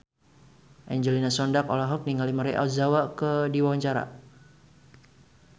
Angelina Sondakh olohok ningali Maria Ozawa keur diwawancara